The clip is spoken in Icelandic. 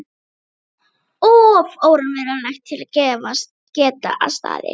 Þetta var of óraunverulegt til að geta staðist.